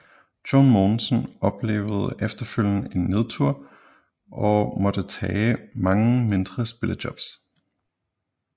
John Mogensen oplevede efterfølgende en nedtur og måtte tage mange mindre spillejobs